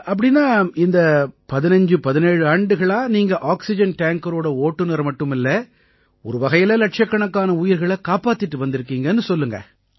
அப்படீன்னா இந்த 1517 ஆண்டுகளா நீங்க ஆக்சிஜன் டேங்கரோட ஓட்டுநர் மட்டுமில்லை ஒரு வகையில இலட்சக்கணக்கான உயிர்களைக் காப்பாத்திட்டு வந்திருக்கீங்கன்னு சொல்லுங்க